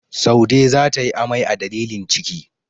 Saude za ta yi amai a dalilin ciki.